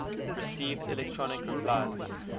received electronic replies